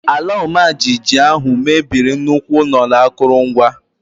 Ala ọmajiji ahụ mebiri nnukwu ụlọ na akụrụngwa.